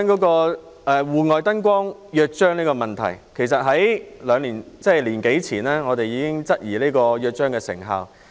關於《戶外燈光約章》的問題。其實，我們在1年多前已質疑《約章》的成效。